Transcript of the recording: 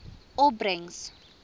opbrengs